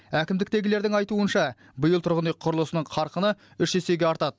әкімдіктегілердің айтуынша биыл тұрғын үй құрылысының қарқыны үш есеге артады